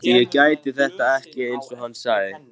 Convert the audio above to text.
Hélt ég gæti þetta ekki, einsog hann sagði.